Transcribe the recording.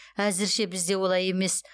әзірше бізде олай емес